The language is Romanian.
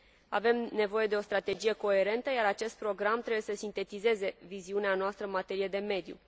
Avem nevoie de o strategie coerentă, iar acest program trebuie să sintetizeze viziunea noastră în materie de mediu.